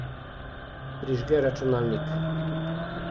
Prižge računalnik.